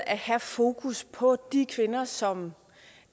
at have fokus på de kvinder som